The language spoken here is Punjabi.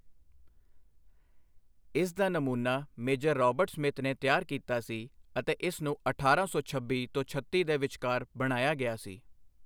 ਇਸ ਦਾ ਨਮੂਨਾ ਮੇਜਰ ਰਾਬਰਟ ਸਮਿਥ ਨੇ ਤਿਆਰ ਕੀਤਾ ਸੀ ਅਤੇ ਇਸ ਨੂੰ ਅਠਾਰਾਂ ਸੌ ਛੱਬੀ ਤੋਂ ਛੱਤੀ ਦੇ ਵਿਚਕਾਰ ਬਣਾਇਆ ਗਿਆ ਸੀ।